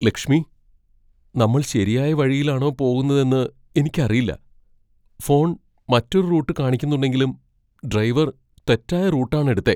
ലക്ഷ്മി, നമ്മൾ ശരിയായ വഴിയിലാണോ പോകുന്നെന്ന് എനിക്കറിയില്ല. ഫോൺ മറ്റൊരു റൂട്ട് കാണിക്കുന്നുണ്ടെങ്കിലും ഡ്രൈവർ തെറ്റായ റൂട്ട് ആണ് എടുത്തേ.